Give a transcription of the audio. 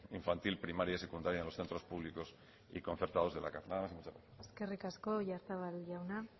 infantil primaria y secundaria en los centros públicos y concertados de la cav nada más y muchas gracias eskerrik asko oyarzabal jauna